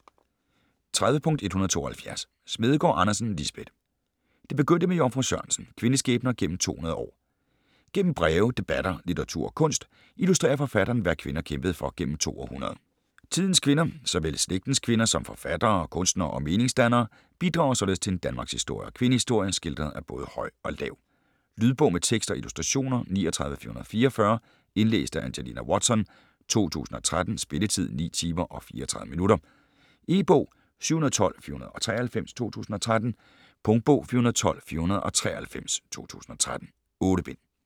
30.172 Smedegaard Andersen, Lisbeth: Det begyndte med Jomfru Sørensen: kvindeskæbner gennem 200 år Gennem breve, debatter, litteratur og kunst, illustrerer forfatteren hvad kvinder kæmpede for gennem to århundreder. Tidens kvinder, såvel slægtens kvinder som forfattere, kunstnere og meningsdannere, bidrager således til en danmarkshistorie og kvindehistorie skildret af både høj og lav. Lydbog med tekst og illustrationer 39444 Indlæst af Angelina Watson, 2013. Spilletid: 9 timer, 34 minutter. E-bog 712493 2013. Punktbog 412493 2013. 8 bind.